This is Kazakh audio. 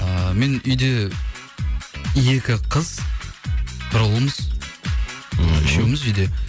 ыыы мен үйде екі қыз бір ұлмыз ммм үшеуміз үйде